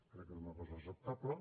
crec que és una cosa acceptable